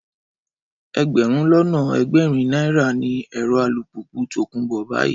Ẹgbẹ̀rún lọ́nà ẹgbẹ̀rin náírà ni èrò alùpùpù tòkunbọ̀ báyìí